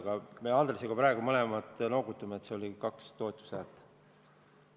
Aga me Andresega praegu mõlemad noogutame, nii et see oli ikka kaks toetushäält.